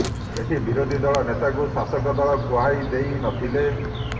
ଏଠି ବିରୋଧୀଦଳ ନେତାଙ୍କୁ ଶାସକ ଦଳ କୁହାଇ ଦେଇ ନଥିଲେ